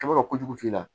Kaba ka kojugu f'i la